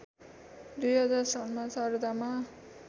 २००० सालमा शारदामा